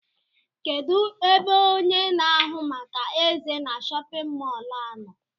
Kedụ ebe ọnye na ahụ màkà eze na shóppin mol a nọ?